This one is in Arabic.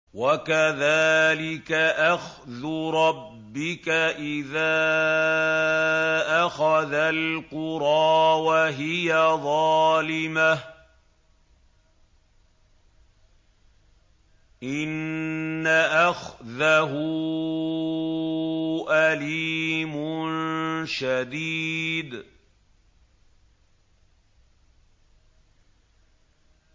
وَكَذَٰلِكَ أَخْذُ رَبِّكَ إِذَا أَخَذَ الْقُرَىٰ وَهِيَ ظَالِمَةٌ ۚ إِنَّ أَخْذَهُ أَلِيمٌ شَدِيدٌ